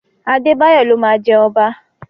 Adébáyọ̀ ló máa jẹ ọba.